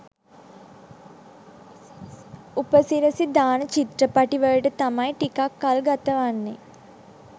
උපසිරසි දාන චිත්‍රපටි වලට තමයි ටිකක් කල් ගතවෙන්නෙ